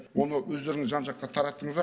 оны өздеріңіз жан жаққа тараттыңыздар